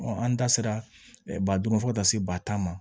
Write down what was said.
an da sera ba duuru fo ka taa se ba tan ma